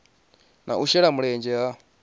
na u shela mulenzhe ha